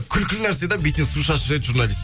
күлкі нәрсе де бетіне су шашып жібереді журналист